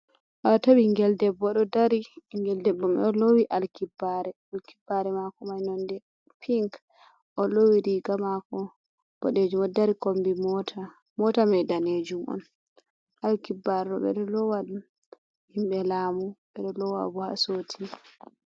Wato ɓingel debbo ɗo dari. Ɓingel debbo mai ɗo lowi alkibbare. Alkibbare mako mai nonde pink. O lowi riga mako boɗejum, o ɗo dari kombi mota mai danejum on. Alkibarre ɓe ɗo lowa ɗum himɓe lamu ɓeɗo lowa bo himɓe soti.